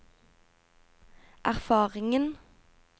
erfaringen